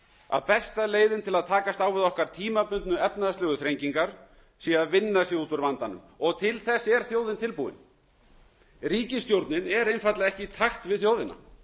að besta leiðin til að takast á við okkar tímabundnu efnahagslegu þrengingar er að vinna sig út úr vandanum og til þess er þjóðin tilbúin ríkisstjórnin er einfaldlega ekki í takt við þjóðina